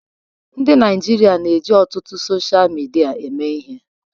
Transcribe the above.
Ndị Naịjirịa na-eji ọtụtụ sochịa midia eme ihe.